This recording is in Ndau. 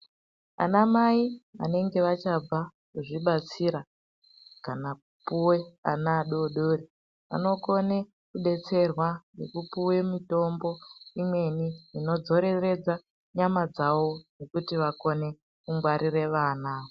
Vanamai vanenge vachabva kuzvibatsira kana kupiwa ana adodori anokona kudetserwa kupuwa mutombo imweni inodzoreredza nyama dzavo yekuti vakone kungwarira vana.